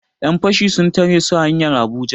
Yan fashi sun tare su hanyar Abuja